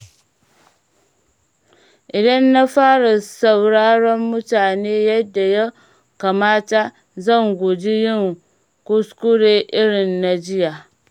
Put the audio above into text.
Idan na fara sauraron mutane yadda ya kamata, zan guji yin kuskure irin na jiya.